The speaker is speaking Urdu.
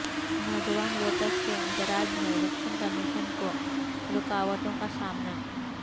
نوجوان ووٹرس کے اندراج میں الیکشن کمیشن کو رکاوٹوں کا سامنا